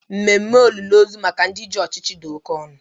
Ememe olili ozu maka ndị ji ọchịchị dị oke ọnụ